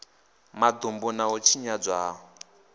madumbu na u tshinyadzwa ha